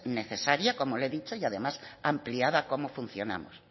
necesaria como le he dicho y además ampliada a cómo funcionamos